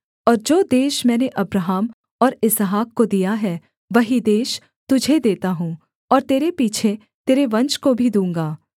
और जो देश मैंने अब्राहम और इसहाक को दिया है वही देश तुझे देता हूँ और तेरे पीछे तेरे वंश को भी दूँगा